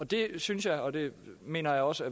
det synes jeg og det mener jeg også